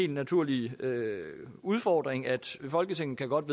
naturlige udfordring at folketinget godt